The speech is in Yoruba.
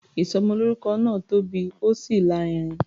Ìsọmọlórúkọ náà tóbi, ó sì lárinrin.